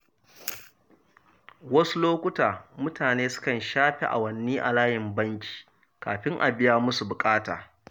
Wasu lokuta, mutane sukan shafe awanni a layin banki kafin a biya musu buƙata.